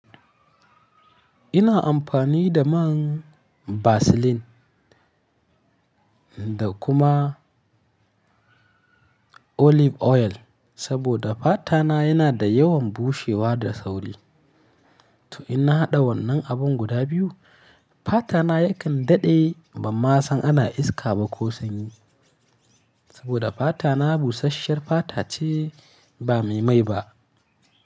Ina amfani da man Vaseline da kuma olive oil saboda fata na yana da yawan bushewa da sauri. To in na haɗa wannan abin guda biyu, fata na ya kan daɗe ba ma san ana iska ba ko sanyi. Saboda fata na busashiyar fata ce ba mai mai ba.